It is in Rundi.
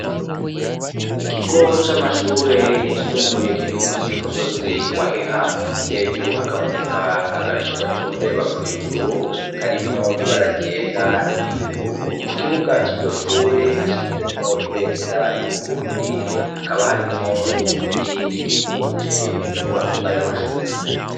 Ikigo c'amashure yisumbuye kiri musi y'umusozi wa Heha, hejuru hakaboneka agacu gacundeba mw'ijuru karimwo ibara ryera n'iryubururu, mu kibuga ciryo shure hashinzemwo ibendera y'Uburundi hakaba harimwo n'ibiti bikikuje izo nyubako zayo mashure.